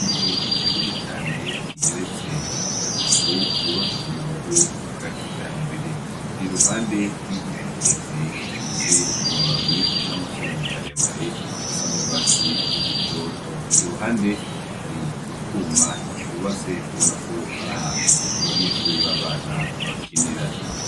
Inzu nini cane igeretse gatatu yubatswe mu buryo bwa kijambere. Iri iruhande y'igiti kirekire gifise amababi n'amashami maremare asa n'ugwatsi rutototo. Iruhande hari utwuma twubatse ubona ko ari ahantu abanyeshure b'abana bakinira.